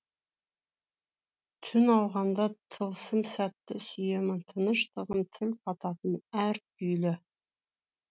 түн ауғанда тылсым сәтті сүйемін тыныштығым тіл қататын әр күйлі